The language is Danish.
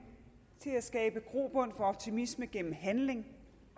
til at skabe grobund for optimisme gennem handling